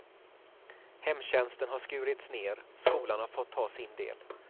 Hemtjänsten har skurits ner, skolan har fått ta sin del.